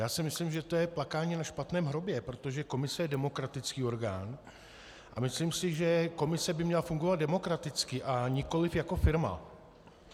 Já si myslím, že to je plakání na špatném hrobě, protože komise je demokratický orgán a myslím si, že komise by měla fungovat demokraticky, a nikoliv jako firma.